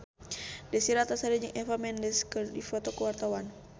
Desy Ratnasari jeung Eva Mendes keur dipoto ku wartawan